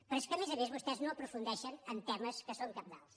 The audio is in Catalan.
però és que a més a més vostès no aprofundeixen en temes que són cabdals